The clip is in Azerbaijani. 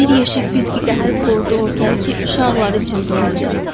Bir yeşik fiski gətirib qoydu ortaya ki, uşaqlar içində oyyunca.